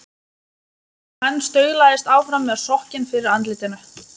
Og hann staulaðist áfram með sokkinn fyrir andlitinu.